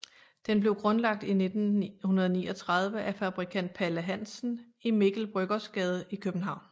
Den blev grundlagt i 1939 af fabrikant Palle Hansen i Mikkel Bryggers Gade i København